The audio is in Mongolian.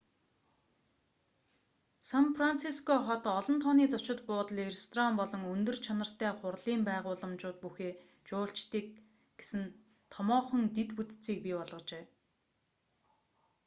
сан франциско хот олон тооны зочид буудал ресторан болон өндөр чанартай хурлын байгууламжууд бүхий жуулчдыг гэсэн томоохон дэд бүтцийг бий болгожээ